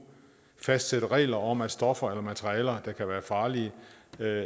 fastsætte regler om at stoffer eller materialer der kan være farlige